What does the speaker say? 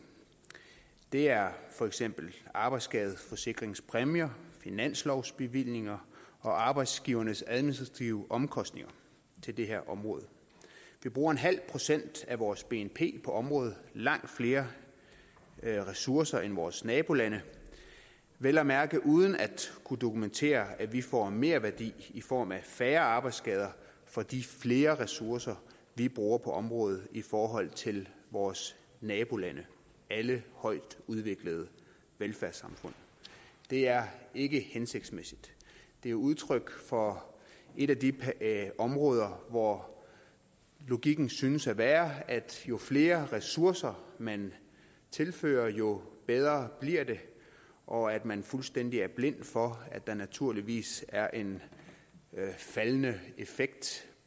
det er for eksempel arbejdsskadeforsikringspræmier finanslovsbevillinger og arbejdsgivernes administrative omkostninger til det her område vi bruger en halv procent af vores bnp på området langt flere ressourcer end vores nabolande og vel at mærke uden at kunne dokumentere at vi får en merværdi i form af færre arbejdsskader for de flere ressourcer vi bruger på området i forhold til vores nabolande alle højtudviklede velfærdssamfund det er ikke hensigtsmæssigt det er udtryk for et af de områder hvor logikken synes at være at jo flere ressourcer man tilfører jo bedre bliver det og at man fuldstændig er blind for at der naturligvis er en faldende effekt